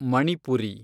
Manipuri